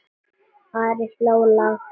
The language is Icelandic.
Ari hló lágt.